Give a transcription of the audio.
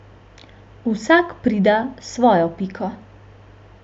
Vsak prida svojo piko.